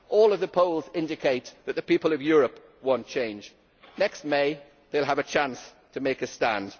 All the polls indicate that the people of Europe want change. Next May, they will have a chance to make a stand.